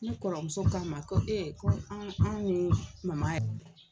Ne kɔrɔmuso k'a ma ko ko anw an' ni mama yɛ